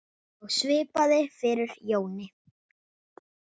Og svipað fór fyrir Jóni.